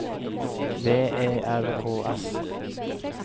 V E R K S